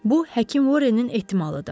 Bu həkim Vorrenin ehtimalıdır.